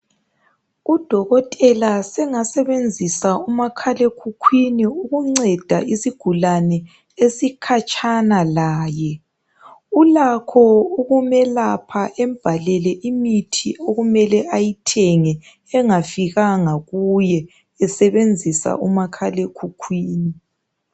Udokotela sengasebenzisa umakhalekhukwini ukunceda isigulane esikhatshana laye. Ulakho ukumelapha ambhalele imithi okumele ayithenge engafikanga kuye esebenzisa umakhalekhukhwini.